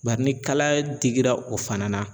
Bari ni kalaya digira o fana na